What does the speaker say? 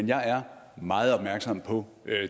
jeg er meget opmærksom på